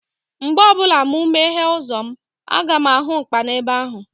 Mgbe ọbụla mụ meghee ụzọ, aga m ahụ Ụkpana ebe ahụ